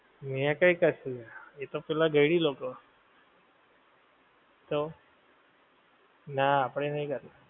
મે કાંઈ કર્યું નહિ, એ તો પેલા ઘયડી લોકો, તો? નાં આપણે નહિ કરતાં.